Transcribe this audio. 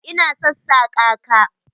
Ina sassaka ka.